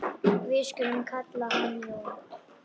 Við skulum kalla hann Jón.